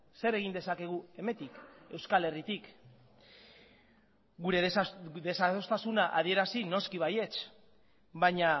zer egin dezakegu hemendik euskal herritik gure desadostasuna adierazi noski baietz baina